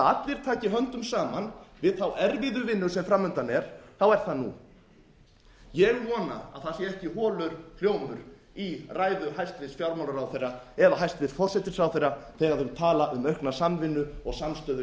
allir taki höndum saman við þá erfiðu sem framundan er er það nú ég vona að það sé ekki holur hljómur í ræðu hæstvirts fjármálaráðherra eða hæstvirtur forsætisráðherra þegar þau tala um aukna samvinnu og samstöðu hér